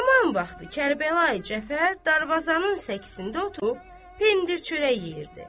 Hamam vaxtı Kərbəlayı Cəfər darvazanın səkəsində oturub pendir-çörək yeyirdi.